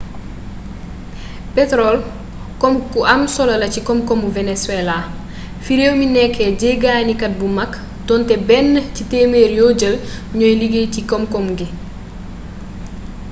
petorol koom gu am solo la ci koom koomu venezuela fi réew mi nekké jéggani kat bu mag donté benn ci témér yo jël ñooy liggéy ci koom koom ngi